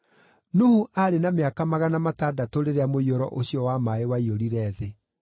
Nuhu aarĩ na mĩaka magana matandatũ rĩrĩa mũiyũro ũcio wa maaĩ waiyũrire thĩ.